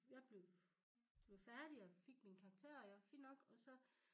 Jeg blev de var færdige og fik min karakter og jeg fint nok og så